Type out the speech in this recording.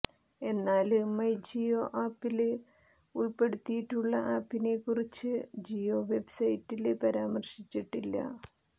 എന്നാല് മൈ ജിയോ ആപ്പില് ഉള്പ്പെടുത്തിയിട്ടുള്ള ആപ്പിനെക്കുറിച്ച് ജിയോ വെബ്സൈറ്റില് പരാമര്ശിച്ചിട്ടില്ല